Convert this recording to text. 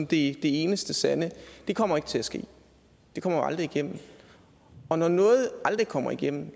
det eneste sande det kommer ikke til at ske det kommer aldrig igennem og når noget aldrig kommer igennem